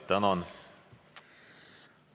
Tänan!